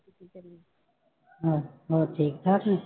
ਹਾਂ, ਹੋਰ ਠੀਕ ਠਾਕ ਨੇ?